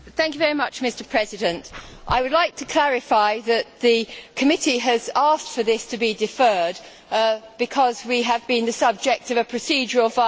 Mr President, I would like to clarify that the committee has asked for this to be deferred because we have been the subject of a procedural violation.